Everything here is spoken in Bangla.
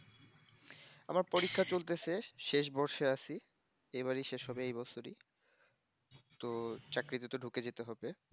আমার পরীক্ষা চলতাসে শেষ বর্ষে আসি এবারেই শেষ হবেএই বছরই তো চাকরিতে তো ঢুকে যেতে হবে